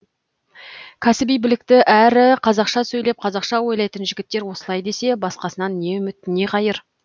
кәсіби білікті әрі қазақша сөйлеп қазақша ойлайтын жігіттер осылай десе басқасынан не үміт не қайыр